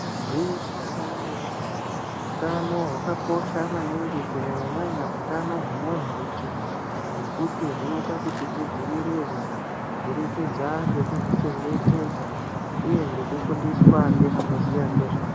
Gwinyiso remenemene hutano hwakakosha maningi kunyanyanyanya hutano hwemunhurunjee hwekuti hunoita kuti tidzivirirwe kubudikidza ngekuzvichengetedza uye nekufundiswa nevanoziya nezvazvo.